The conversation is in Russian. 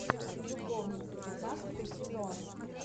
любовницы пятнадцатый сезон